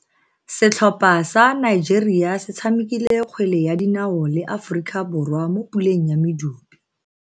Setlhopha sa Nigeria se tshamekile kgwele ya dinaoo le Aforika Borwa mo puleng ya medupe.